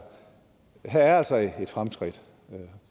ind her er altså et fremskridt og